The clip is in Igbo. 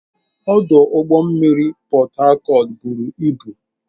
Ọdụ ụgbọ mmiri Port Harcourt buru ibu.